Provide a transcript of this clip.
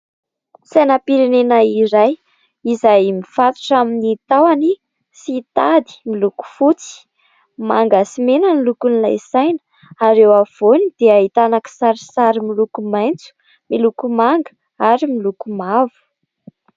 Sainam-pirenena iray izay mifatotra amin'ny tahony sy tady miloko fotsy. Manga sy mena ny lokon'ilay saina ary eo afovoany dia ahitana kisarisary miloko maitso, miloko manga ary miloko mavo.